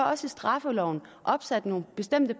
også i straffeloven opsat nogle bestemte